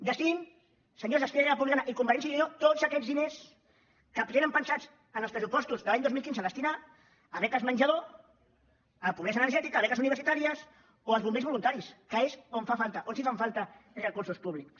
destinin senyors d’esquerra republicana i convergència i unió tots aquests diners que tenen pensats en els pressupostos de l’any dos mil quinze destinar a beques menjador a pobresa energètica a beques universitàries o als bombers voluntaris que és on fan falta on sí que fan falta recursos públics